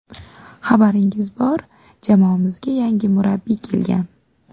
Xabaringiz bor, jamoamizga yangi murabbiy kelgan.